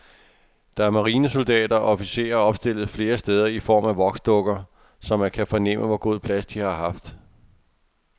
Der er marinesoldater og officerer opstillet flere steder i form af voksdukker, så man kan fornemme, hvor god plads de har haft.